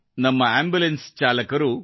ನಮ್ಮ ಆಂಬುಲೆನ್ಸ್ ಚಾಲಕರು